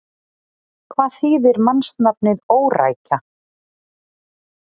Hvað þýðir mannsnafnið Órækja?